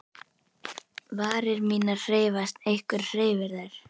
Varir mínar hreyfast, einhver hreyfir þær.